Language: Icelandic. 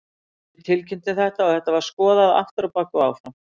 Við tilkynntum þetta og þetta var skoðað aftur á bak og áfram.